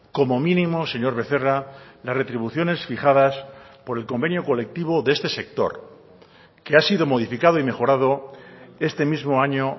como mínimo señor becerra las retribuciones fijadas por el convenio colectivo de este sector que ha sido modificado y mejorado este mismo año